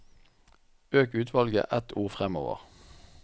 Øk utvalget ett ord framover